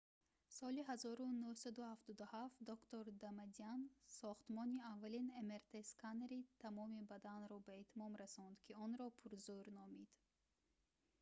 соли 1977 доктор дамадян сохтмони аввалин мрт-сканери тамоми бадан"‑ро ба итмом расонд ки онро пурзӯр номид